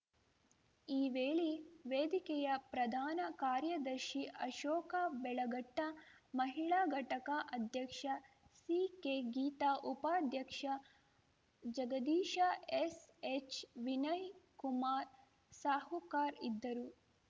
ಈ ವೇಳೆ ವೇದಿಕೆಯ ಪ್ರಧಾನ ಕಾರ್ಯದರ್ಶಿ ಅಶೋಕ ಬೆಳಗಟ್ಟ ಮಹಿಳಾ ಘಟಕ ಅಧ್ಯಕ್ಷ ಸಿಕೆಗೀತಾ ಉಪಾಧ್ಯಕ್ಷ ಜಗದೀಶ ಎಸ್‌ಎಚ್‌ವಿನಯ್‌ ಕುಮಾರ್‌ ಸಾಹುಕಾರ್‌ ಇದ್ದರು